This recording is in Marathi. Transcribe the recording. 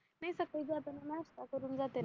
नाई सकाळी जाताना नाष्टा करून जातो ना